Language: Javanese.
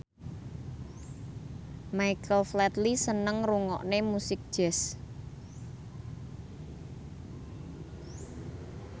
Michael Flatley seneng ngrungokne musik jazz